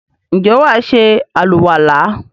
ǹjẹ́ wà á se àlùwàlá?